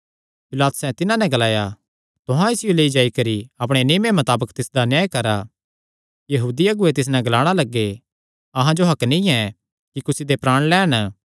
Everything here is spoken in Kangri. पिलातुसैं तिन्हां नैं ग्लाया तुहां ई इसियो लेई जाई करी अपणे नियमे मताबक तिसदा न्याय करा यहूदी अगुऐ तिस नैं ग्लाणा लग्गे अहां जो हक्क नीं ऐ कि कुसी दे प्राण लैन